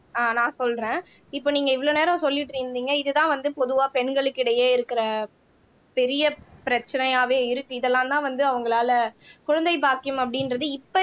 நான் சொல்றேன் இப்ப நீங்க இவ்வளவு நேரம் சொல்லிட்டு இருந்தீங்க இதுதான் வந்து பொதுவா பெண்களுக்கிடையே இருக்கிற பெரிய பிரச்சனையாவே இருக்கு இதெல்லாம்தான் வந்து அவங்களால குழந்தை பாக்கியம் அப்படின்றது இப்ப